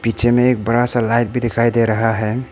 Picture में एक बड़ा सा लाइट भी दिखाई दे रहा है।